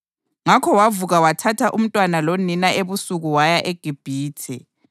Ngakho wavuka wathatha umntwana lonina ebusuku waya eGibhithe